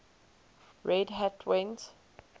red hat went